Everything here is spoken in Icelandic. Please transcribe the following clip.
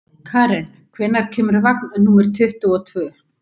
Karen, hvenær kemur vagn númer tuttugu og tvö?